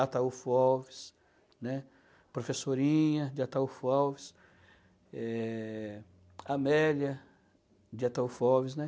Ataulfo Alves, né, Professorinha de Ataulfo Alves, Eh... Amélia de Ataulfo Alves, né.